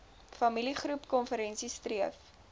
familiegroep konferensie streef